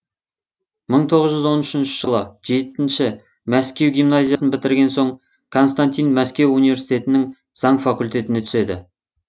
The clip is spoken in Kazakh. мың тоғыз жүз он үшінші жылы жетінші мәскеу гимназиясын бітірген соң константин мәскеу университетінің заң факультетіне түседі